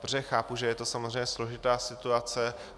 Protože chápu, že je to samozřejmě složitá situace.